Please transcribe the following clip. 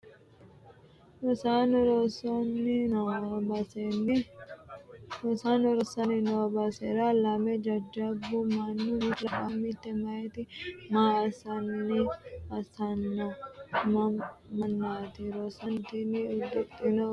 rosaano rossanni noo basera lamu jajjabu manni mittu labbaahu mitte meyaati? maa assanno mannaati? rosaano tini udidhino uddano hiittoote ?